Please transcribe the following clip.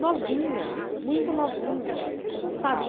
novinha, muito novinha. Sabe